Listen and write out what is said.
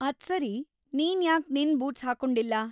ಅದ್ಸರಿ, ನೀನ್ ಯಾಕ್ ನಿನ್ ಬೂಟ್ಸ್‌ ಹಾಕ್ಕೊಂಡಿಲ್ಲ?